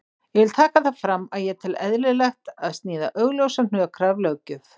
Ég vil taka það fram að ég tel eðlilegt að sniða augljósa hnökra af löggjöf.